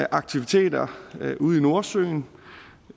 aktiviteter ude i nordsøen